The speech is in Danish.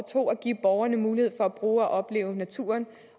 to at give borgerne mulighed for at bruge og opleve naturen